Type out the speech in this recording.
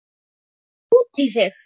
Og út í þig.